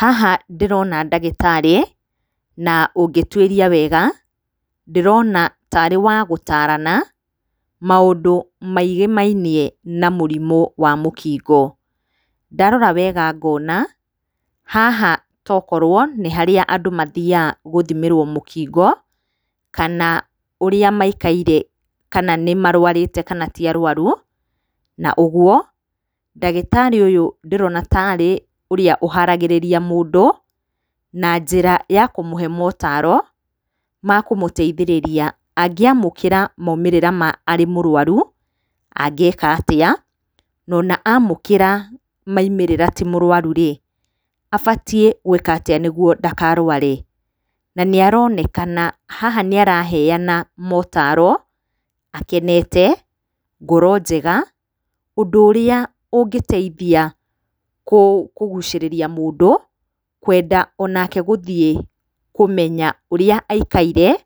Haha ndĩrona ndagĩtarĩ, na ũngĩtuĩria wega, ndĩrona tarĩ wa gũtarana, maũndũ maigĩmainie na mũrimũ wa mũkingo. Ndarora wega ngona, haha tokorwo nĩ harĩa andũ mathiaga gũthimĩrwo mũkingo, kana ũrĩa maikaire kana nĩ marwarĩte kana ti arwaru, na ũgũo ndagĩtarĩ ũyũ ndĩrona tarĩ ũrĩa ũharagĩrĩria mũndũ na njĩra ya kũmũhe motaro ma kũmũteithĩrĩria angĩamũkĩra maumĩrĩra ma arĩ mũrwaru, angĩka atĩa, nona amũkĩra maimĩĩra ti mũrwaru rĩ, abatiĩ gwĩka atĩa nĩguo ndakarware. na nĩ aronekana haha nĩ araheana motaro, akenete, ngoro njega, ũndũ ũrĩa ũngĩteithia kũgucĩrĩria mũndũ, kwenda o nake gũthiĩ kũmenya ũrĩa aikaire,